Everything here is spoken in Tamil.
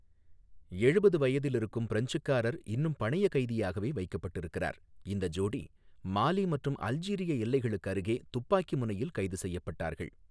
எழுபது வயதில் இருக்கும் பிரெஞ்சுக்காரர் இன்னும் பணயக் கைதியாகவே வைக்கப்பட்டிருக்கிறார், இந்த ஜோடி மாலி மற்றும் அல்ஜீரிய எல்லைகளுக்கு அருகே துப்பாக்கி முனையில் கைது செய்யப்பட்டார்கள்.